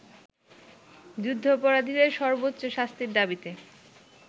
যুদ্ধাপরাধীদের সর্বোচ্চ শাস্তির দাবিতে